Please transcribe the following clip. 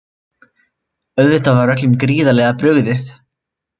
Auðvitað var öllum gríðarlega brugðið